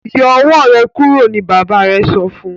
Yọ owó rẹ kúrò ní bàbá rẹ sọfún.